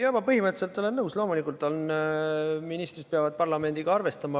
Jaa, ma põhimõtteliselt olen nõus, loomulikult peavad ministrid parlamendiga arvestama.